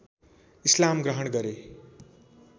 इस्लाम ग्रहण गरे